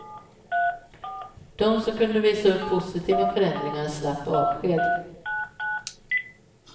De som kunde visa upp positiva förändringar slapp avsked.